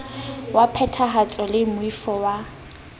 wa phethahatso le moifo wa